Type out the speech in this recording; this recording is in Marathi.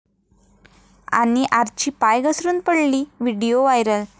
...आणि आर्ची पाय घसरून पडली?, व्हिडिओ व्हायरल